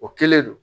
O kelen don